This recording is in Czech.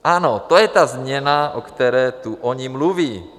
Ano, to je ta změna, o které tu oni mluví.